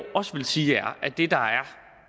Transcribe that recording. også vil sige